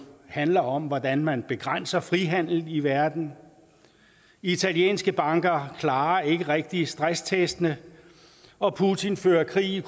handler om hvordan man begrænser frihandelen i verden italienske banker klarer ikke rigtig stresstestene og putin fører krig i